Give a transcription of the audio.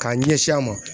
K'a ɲɛsin a ma